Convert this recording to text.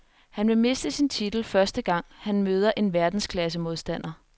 Han vil miste sin titel første gang, han møder en verdensklassemodstander.